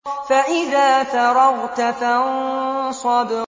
فَإِذَا فَرَغْتَ فَانصَبْ